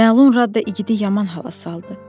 Məlun Radde igidi yaman hala saldı.